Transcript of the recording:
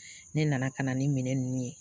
Ne nana ka na ni minɛn ninnu ye